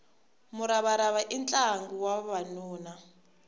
muravarava i ntlangu wa vavanuna